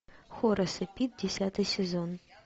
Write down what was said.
хорас и пит десятый сезон